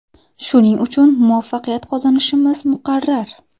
Shuning uchun muvaffaqiyat qozonishimiz muqarrar.